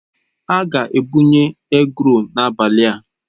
A ga-ebunye egról n'abalị a.